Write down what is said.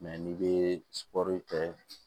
n'i bɛ sugɔro kɛ